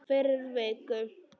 Fyrir viku.